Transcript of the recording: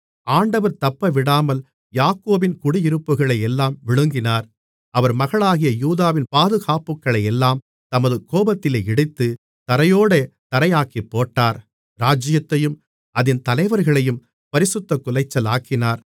ஆண்டவர் தப்பவிடாமல் யாக்கோபின் குடியிருப்புகளையெல்லாம் விழுங்கினார் அவர் மகளாகிய யூதாவின் பாதுகாப்புகளையெல்லாம் தமது கோபத்திலே இடித்து தரையோடே தரையாக்கிப்போட்டார் இராஜ்ஜியத்தையும் அதின் தலைவர்களையும் பரிசுத்தக்குலைச்சலாக்கினார்